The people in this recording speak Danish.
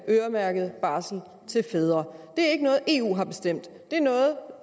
øremærkede barsel til fædre det er ikke noget eu har bestemt det er noget